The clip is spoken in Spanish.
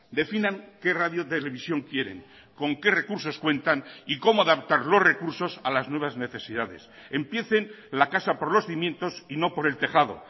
definan qué radio televisión quieren con qué recursos cuentan y cómo adaptar los recursos a las nuevas necesidades empiecen la casa por los cimientos y no por el tejado